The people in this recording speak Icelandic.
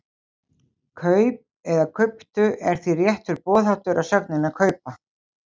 Kaup eða kauptu er því réttur boðháttur af sögninni að kaupa.